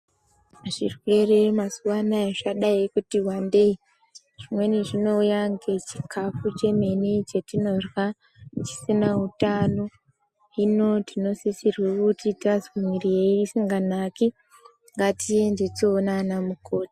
Zvirwere mazuva anaya zvadai kuti vandei zvimweni zvinouya ngechikafu chemene chatinorya chisina hutano. Hino tinosisirwe kuti tazwe mwiri isinganaki ngatiende toona vana mukoti.